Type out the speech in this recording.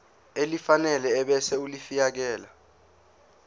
elifanele ebese ulifiakela